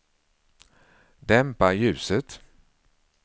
dämpa ljuset